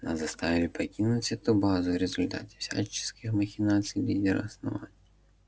нас заставили покинуть эту базу в результате всяческих махинаций лидера основания